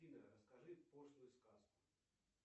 афина расскажи пошлую сказку